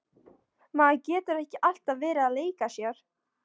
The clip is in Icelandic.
Maður getur ekki alltaf verið að leika sér.